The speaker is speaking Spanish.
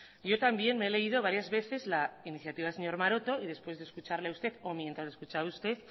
yo también me he leído varias veces la iniciativa del señor maroto y después de escucharle a usted o mientras le escuchaba usted